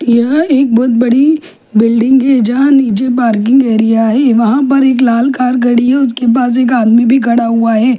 यहां एक बहुत बड़ी बिल्डिंग है यहां नीचे पार्किंग एरिया है वहां पर एक लाल कार खड़ी है उसके पास एक आदमी भी खड़ा हुआ है।